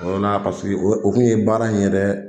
O yɔrɔla , paseke o kun ye baara in yɛrɛ